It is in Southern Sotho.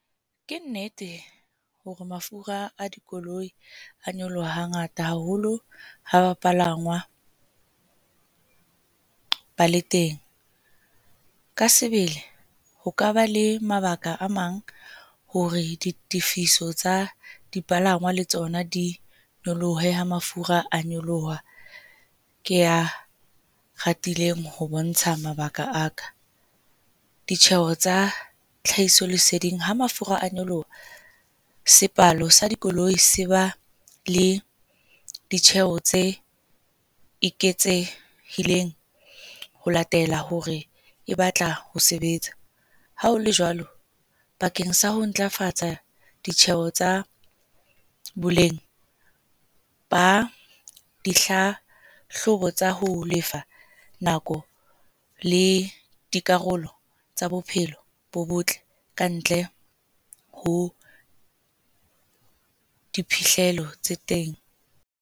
Ke nnete hore mafura a dikoloi a nyoloha hangata haholo ha bapalangwa ba le teng. Ka sebele ho ka ba le mabaka a mang hore ditifiso tsa dipalangwa le tsona di nyolohe ha mafura a nyoloha ke a atileng ho bontsha mabaka a ka. Ditjheho tsa tlhahiso leseding ha mafura a nyoloha. Sepalo sa dikoloi se ba le ditjheho tse eketsehileng ho latela hore e batla ho sebetsa hao le jwalo. Bakeng sa ho ntlafatsa ditjheho tsa boleng ba dihlahlobo tsa ho lefa nako le dikarolo tsa bophelo bo botle ka ntle ho diphihlelo tse teng.